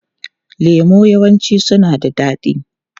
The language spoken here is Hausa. Lemu yawanci suna da daɗi.